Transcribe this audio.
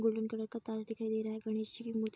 golden colour का ताज दिखाई दे रहा है गणेश जी की मूर्ति --